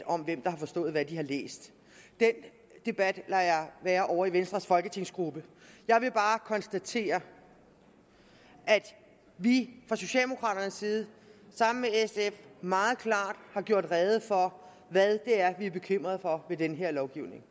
om hvem der har forstået hvad de har læst den debat lader jeg være ovre i venstres folketingsgruppe jeg vil bare konstatere at vi fra socialdemokraternes side sammen med sf meget klart har gjort rede for hvad det er vi er bekymrede for med den her lovgivning